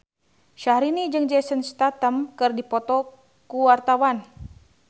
Syahrini jeung Jason Statham keur dipoto ku wartawan